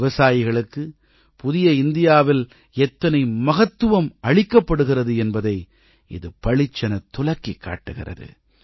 விவசாயிகளுக்குப் புதிய இந்தியாவில் எத்தனை மகத்துவம் அளிக்கப்படுகிறது என்பதை இது பளிச்செனத் துலக்கிக் காட்டுகிறது